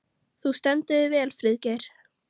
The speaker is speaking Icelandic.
Þú stendur þig vel, Friðgeir!